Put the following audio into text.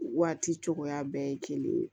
Waati cogoya bɛɛ ye kelen ye